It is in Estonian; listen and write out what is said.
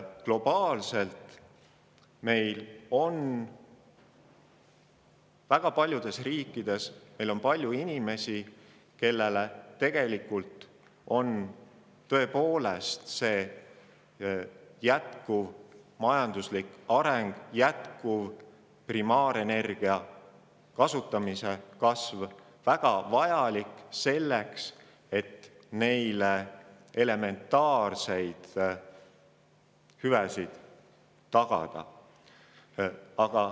Globaalselt on meil väga paljudes riikides palju inimesi, kelle jaoks on tõepoolest jätkuv majanduslik areng ja jätkuv primaarenergia kasutamise kasv väga vajalik, et endale elementaarseid hüvesid tagada.